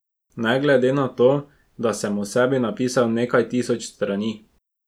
Ne glede na to, da sem o sebi napisal nekaj tisoč strani.